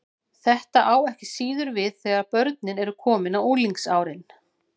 Þetta á ekki síður við þegar börnin eru komin á unglingsárin.